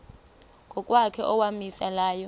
ngokwakhe owawumise layo